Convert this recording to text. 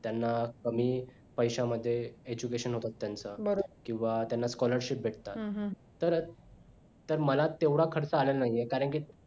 त्यांना कमी पैशांमध्ये education होतात त्यांच किंवा त्यांना scholarship भेटतात तर मला तेवढं खर्च आलेला नाही आहे कारण की